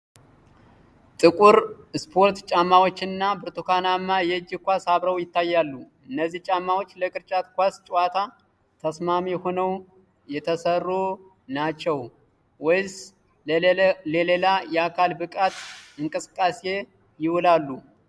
የጥቁር ስፖርት ጫማዎችና ብርቱካናማ የእጅ ኳስ አብረው ይታያሉ። እነዚህ ጫማዎች ለቅርጫት ኳስ ጨዋታ ተስማሚ ሆነው የተሰሩ ናቸው ወይስ ለሌላ የአካል ብቃት እንቅስቃሴ ይውላሉ?